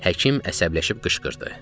Həkim əsəbləşib qışqırdı.